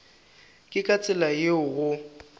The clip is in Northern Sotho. ke ka tsela yeo go